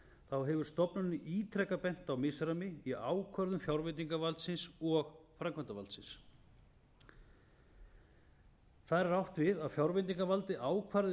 þá hefur stofnunin í ítreka bent á misræmi í ákvörðun fjárveitingavaldsins og framkvæmdarvaldsins þar er átt við að fjárveitingavaldið ákvarði